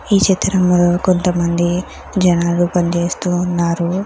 ఈ చిత్రంలో కొంతమంది జనాలు పనిచేస్తూ ఉన్నారు.